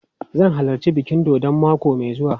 Zan halarci bikin dodon mako mai zuwa.